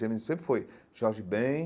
James sempre foi Jorge Ben,